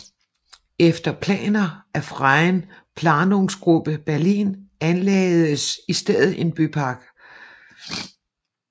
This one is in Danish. Efter planer af Freien planungsgruppe Berlin anlagdes i stedet en bypark